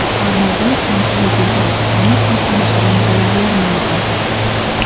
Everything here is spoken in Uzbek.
Ammo bir "kamchiligi" bor: hamisha ham shirin bo‘lavermaydi.